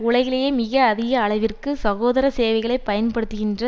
உலகிலேயே மிக அதிக அளவிற்கு சுகாதார சேவைகளை பயன்படுத்துகின்ற